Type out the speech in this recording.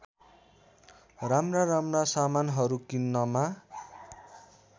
राम्राराम्रा सामानहरू किन्नमा